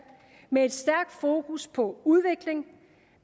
med et stærkt fokus på udvikling